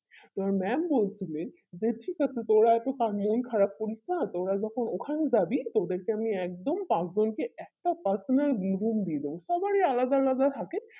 তো mam বলছিলেন যে ঠিক আছে তোরা এতো phanjaim খারাপ করি না তো ওরা যখন ওখানে জাবি তোদের কে আমি একজন পাঁচজনকে একটা personal room দিয়ে দেব সবাই আলাদা আলাদা থাকে